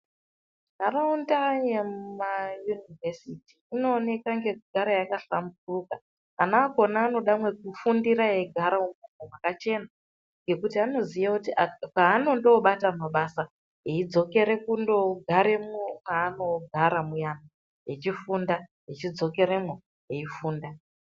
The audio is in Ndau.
Nharaunda yemuma Univhesiti inooneka ngekugara yakahlamburuka. Ana akhona anoda mwekufundira eigara imwomwo mwakachena ngekuti anoziye kuti panondoobata mabasa eidzokera kundogara mwanogara mwuyana echifunda echidzokeremwo eifunda.